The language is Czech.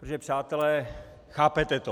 Protože - přátelé, chápete to.